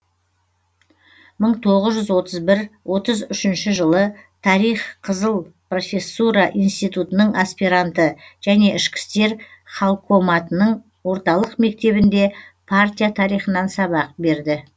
мың тоғыз жүз отыз бір отыз үшінші жылы тарих қызыл профессура институтының аспиранты және ішкі істер халкоматының орталық мектебінде партия тарихынан сабақ берді